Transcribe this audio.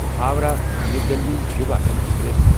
Howrah new Delhi Yuva express